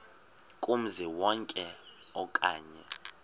kumzi wonke okanye